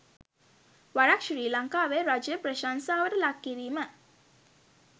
වරක් ශ්‍රී ලංකාවේ රජය ප්‍රශංසාවට ලක් කිරීම